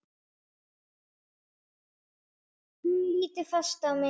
Hún lítur fast á mig.